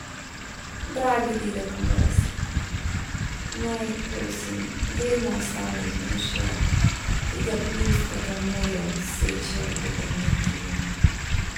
Dragi dedek Mraz, naj, prosim, vedno ostane vzdušje, ki ga pljuskata morje od Seče do Bernardina.